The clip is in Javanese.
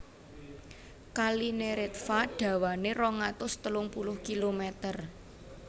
Kali Neretva dawané rong atus telung puluh kilomèter